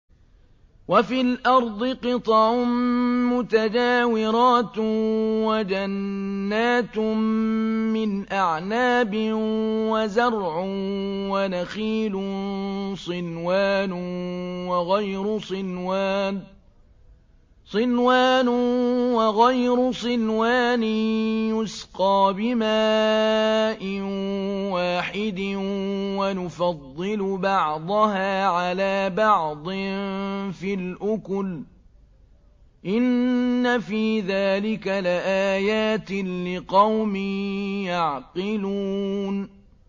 وَفِي الْأَرْضِ قِطَعٌ مُّتَجَاوِرَاتٌ وَجَنَّاتٌ مِّنْ أَعْنَابٍ وَزَرْعٌ وَنَخِيلٌ صِنْوَانٌ وَغَيْرُ صِنْوَانٍ يُسْقَىٰ بِمَاءٍ وَاحِدٍ وَنُفَضِّلُ بَعْضَهَا عَلَىٰ بَعْضٍ فِي الْأُكُلِ ۚ إِنَّ فِي ذَٰلِكَ لَآيَاتٍ لِّقَوْمٍ يَعْقِلُونَ